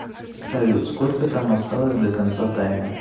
салют сколько там осталось до конца таймера